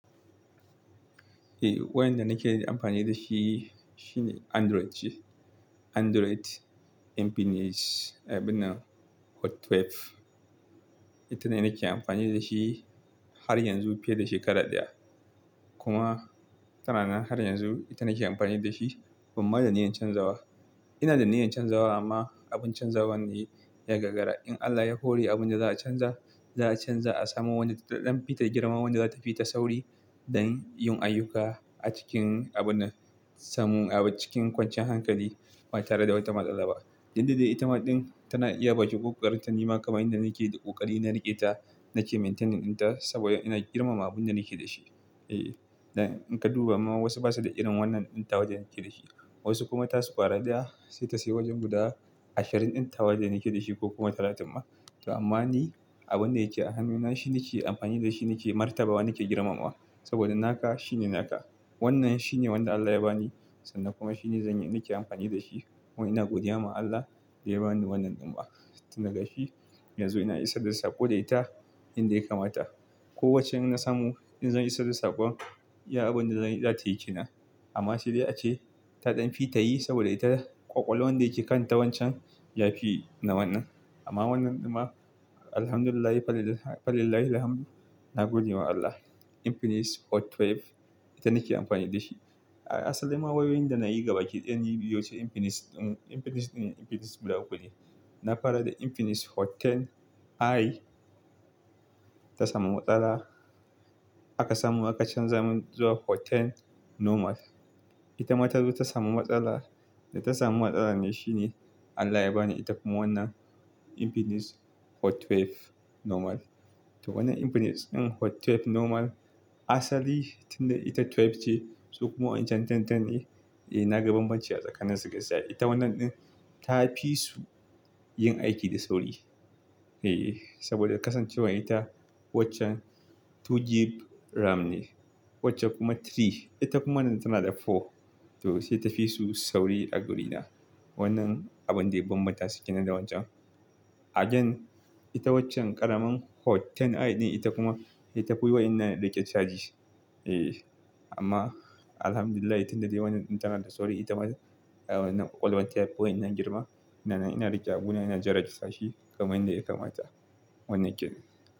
Eh wayanda nake amfani da shi shine Android ce. Android Infinix abinnan Hot 12. Ita ne nake amfani da shi har yanzu fiye da shekara ɗaya. Kuma tana nan har yanzu. Ita nake amfani da shi, bamma da niyyar canzawa. Ina da niyyar canzawa amma abin canzawa ne ya gagara. In Allah ya hore abunda za a canza, za a canza a samu wanda taɗan fita girma wanda za tafi ta sauri don yin ayyuka a cikin abun samun a cikin kwanciyar hankali ba tare da wata matsala ba. Tumda dai itama ɗin tana iya bakin kokarinta nima kamar yanda nake da ƙoƙari na riƙe ta nake maintaining ta saboda ina girmama abun da nake da shi. E, in ka duba ma wasu ba su da irin wannan ɗin ta wadda nake da shi. Wasu kuma tasu kwara daya sai ta sayi wajen guda ashirin ɗin tawa da nake da shi ko kuma talatin ma. To amma ni abun da yake a hannuna shi nake amfani da shi nake martaba nake girmamawa saboda naka shine naka. Wannan shine wanda Allah ya bani sannan kuma shine zanyi nake amfani da shi. Kuma ina godiya ma Allah da ya bani wannan ɗin ma. Tunda gashi yanzu ina isarda sako da ita yanda ya kamata. Ko waccan na samu in zan isarda sakon, iya abunda zan zatayi kenan. Amma saidai ace taɗan fita yi saboda ita ƙwaƙwalwan da yake kanta wancan yafi na wannan. Amma wannan ɗin ma Alhamdulillah falillahilhamdu na godewa Allah. Infinix Hot 12 ita nake amfani da shi. Asalinma wayoyin da nayi ga bakiɗaya baiwuce Infinix, Infinix in Infinix guda uku ne. Na fara da Infinix Hot 10i ta samu matsala. Aka samu aka canza mun zuwa Hot 10 normal. Ita ma ta zo ta samu matsala. Da ta samu matsala ne shine Allah ya bani ita kuma wannan Infinix Hot 12 normal. To wannan Infinix ɗin Hot 12 normal asali tunda ita 12 ce su kuma wancan 10 10 ne. E naga banbanci a tsakanin su gaskiya. Ita wannan ɗin ta fi su yin aiki da sauri. E, saboda kasancewar ita waccan 2GB RAM ne wacce kuma 3 ita kuma nan tana da 4. To sai ta fi su sauri a wurina. Wannan abun dai banbata su kenan da wancan. Again ita waccan ƙaramin Hot 10i din ita kuma ita duk tafi wadannan riƙe charge. E amma Alhamdulillah tunda dai wannan ɗin tana da sauri ita ma ah wannan ƙwaƙwalwanta yafi wadannan girma. Ina nan, ina riƙe abuna ina jera sashi kamar yanda ya kamata. Wannan yake.